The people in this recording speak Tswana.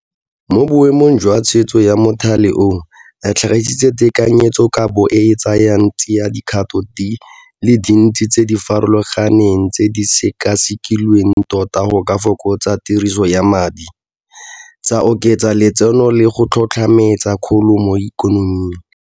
Mo boemong jwa tshwetso ya mothale oo, re tlhagisitse tekanyetsokabo e e tsayang tsiadikgato di le dintsi tse di farologaneng tse di sekasekilweng tota go ka fokotsa tiriso ya madi, tsa oketsa letseno le go tlhotlhetsa kgolo mo ikonoming.